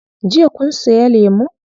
Jiya kun siya lemun?